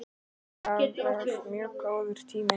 Það var mjög góður tími.